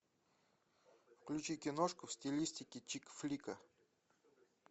включи киношку в стилистике чикфлика